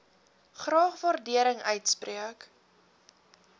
graag waardering uitspreek